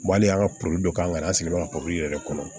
Wali an ka poli dɔ k'an yɛrɛ sigilen ka poro yɛrɛ kɔnɔ